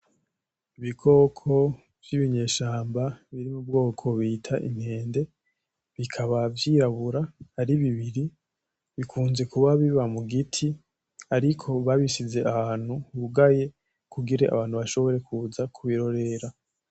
Ibikoko vyibi nyeshamba biri mu bwoko bita inkende, bikaba vyirabura ari bibiri. Bikunze kuba biba mu giti ariko babishize aha hantu hugaye kugira abantu bashobore kuza kubirorera.